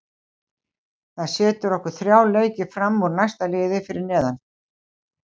Það setur okkur þrjá leiki fram úr næsta liði fyrir neðan.